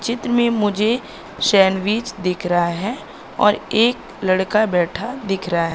चित्र में मुझे सैंडविच दिख रहा है और एक लड़का बैठा दिख रहा--